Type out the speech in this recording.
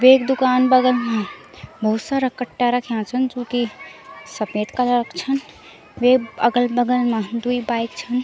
वेक दुकान बगल मा भोत सारा कट्टा रख्याँ छन जू की सपेद कलर क छन वेक अगल-बगल मा द्वि बाइक छन।